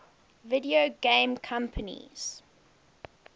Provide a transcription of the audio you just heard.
video game companies